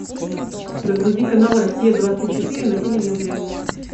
загрузи канал россия двадцать четыре на телевизоре